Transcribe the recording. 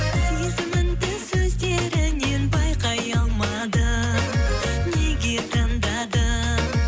сезіміңді сөздеріңнен байқай алмадым неге таңдадың